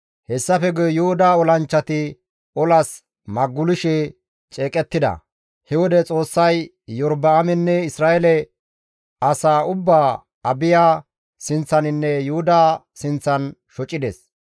Hessafe guye Yuhuda olanchchati olas magulishe ceeqettida; he wode Xoossay Iyorba7aamenne Isra7eele asaa ubbaa Abiya sinththaninne Yuhuda sinththan shocides.